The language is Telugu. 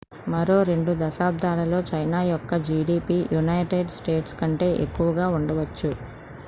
మరో 2 దశాబ్దాలలో చైనా యొక్క gdp యునైటెడ్ స్టేట్స్ కంటే ఎక్కువగా ఉండవచ్చు